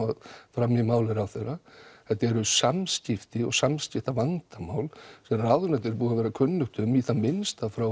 fram í máli ráðherra þetta eru samskipti og samskiptavandamál sem ráðuneytinu er búið að vera kunnugt um í það minnsta